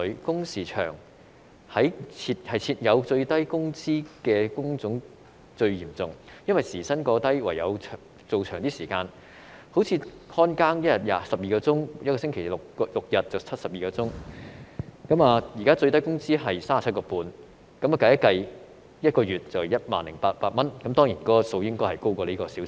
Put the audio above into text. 工時長在低工資的工種最嚴重，因為時薪過低，唯有工作較長時間，例如保安員每天工作12小時，一星期工作6天便是72小時，現在最低工資時薪是 37.5 元，運算後每月賺取 10,800 元，當然他們的工資應稍為高於這個數字。